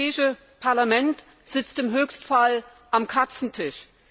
Das Europäische Parlament sitzt im Höchstfall am Katzentisch.